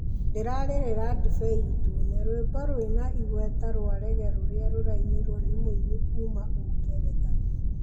ndĩrarĩrĩria ndibei dune. rwimbo rwĩna igweta rwa raggae rũrĩa rũrainiro ni mũini kuuma ũngeretha.